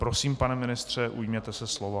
Prosím, pane ministře, ujměte se slova.